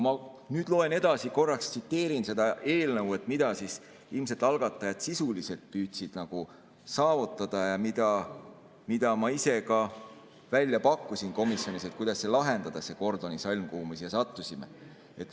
Nüüd, korraks tsiteerin seda eelnõu, mida ilmselt algatajad sisuliselt püüdsid saavutada ja mida ma ise ka välja pakkusin komisjonis, kuidas lahendada see Gordioni sõlm, kuhu me siin sattusime. "...